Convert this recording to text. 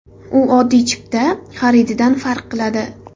U oddiy chipta xarididan farq qiladi.